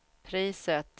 priset